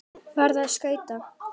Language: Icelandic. Farðu á skauta.